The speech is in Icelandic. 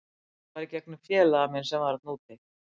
Þetta var í gegnum félaga minn sem er þarna úti.